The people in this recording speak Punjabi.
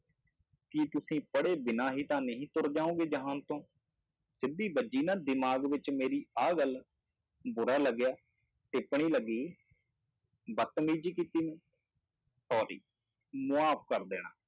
ਕੀ ਤੁਸੀਂ ਪੜ੍ਹੇ ਬਿਨਾਂ ਹੀ ਤਾਂ ਨਹੀਂ ਤੁਰ ਜਾਓਗੇ ਜਹਾਨ ਤੋਂ, ਸਿੱਧੀ ਵੱਜੀ ਨਾ ਦਿਮਾਗ ਵਿੱਚ ਮੇਰੀ ਆਹ ਗੱਲ, ਬੁਰਾ ਲੱਗਿਆ, ਟਿੱਪਣੀ ਲੱਗੀ, ਬਦਤਮੀਜੀ ਕੀਤੀ ਮੈਂ sorry ਮਾਫ਼ ਕਰ ਦੇਣਾ।